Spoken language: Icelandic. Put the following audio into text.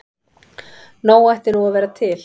Nóg ætti nú að vera til.